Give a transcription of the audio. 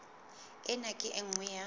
ena ke e nngwe ya